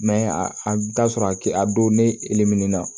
a bɛ taa sɔrɔ a kisɛ a don ne e lemin na